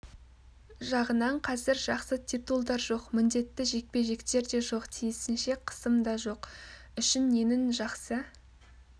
жағынан қазір жақсы титулдар жоқ міндетті жекпе-жектер де жоқ тиісінше қысым дажоқ үшін ненің жақсы